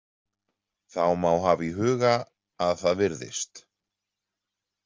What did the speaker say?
Þá má hafa í huga að það virðist.